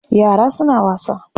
Yara suna wasa.